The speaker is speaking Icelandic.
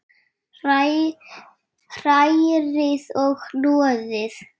Hrærið og hnoðið.